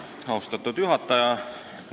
Austatud juhataja!